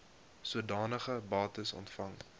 sodanige bates ontvang